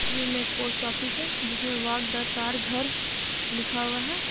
इस तस्वीर में पोस्ट फिस हैजिमे वाग ता घर लिखा हुआ है।